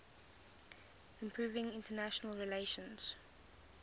improving international relations